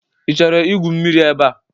Ị chọrọ igwu mmiri ebe a?